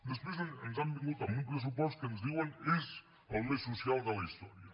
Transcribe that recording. després ens han vingut amb un pressupost que ens diuen és el més social de la història